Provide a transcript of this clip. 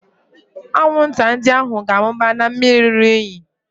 Anwụnta ndị ahụ ga-amụba na mmiri ruru unyi